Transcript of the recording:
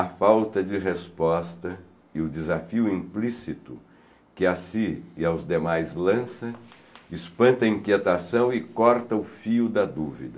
A falta de resposta e o desafio implícito que a si e aos demais lança, espanta a inquietação e corta o fio da dúvida.